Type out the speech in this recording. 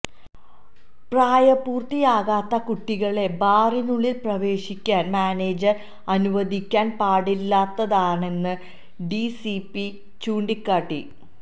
പ്രായപൂര്ത്തിയാകാത്ത കുട്ടികളെ ബാറിനുള്ളില് പ്രവേശിക്കാന് മാനേജര് അനുവദിക്കാന് പാടില്ലാത്തതാണെന്ന് ഡിസിപി ചൂണ്ടിക്കാട്ടി